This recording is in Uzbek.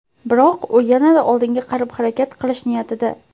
Biroq u yanada oldinga qarab harakat qilish niyatida.